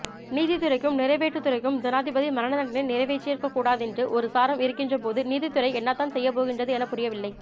நீதித்துறைக்கும் நிறைவேற்றுத்துறைக்கும் ஜனாதிபதி மரணதண்டனையை நிறைவேற்றியிருக்கக்கூடாதென்று ஒருசாராரும் இருக்கின்றபோது நீதித்துறை என்னதான் செய்யப்போகின்றது எனப்புரியவில்லை